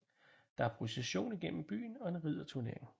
Der er procession igennem byen og en ridderturnering